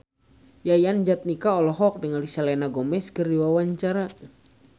Yayan Jatnika olohok ningali Selena Gomez keur diwawancara